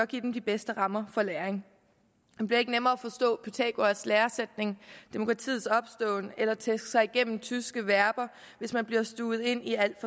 give dem de bedste rammer for læring det bliver ikke nemmere at forstå pythagoras læresætning demokratiets opståen eller at tæske sig igennem tyske verber hvis man bliver stuvet ind i et alt